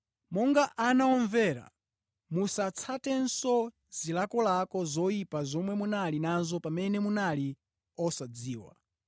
Monga ana omvera, musatsatenso zilakolako zoyipa zomwe munali nazo pamene munali osadziwa.